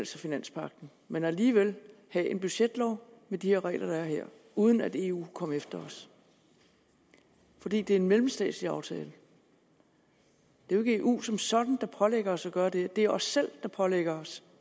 sig finanspagten men alligevel have en budgetlov med de regler der er her uden at eu kunne komme efter os for det er en mellemstatslig aftale det er jo ikke eu som sådan der pålægger os at gøre det det er os selv der pålægger os